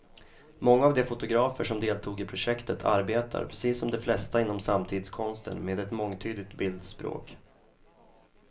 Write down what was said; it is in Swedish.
Många av de fotografer som deltog i projektet arbetar, precis som de flesta inom samtidskonsten, med ett mångtydigt bildspråk.